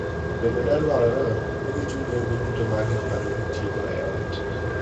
Bende ne dwarore ni gichul nengo duto mag gik ma ne itiyogo e ot.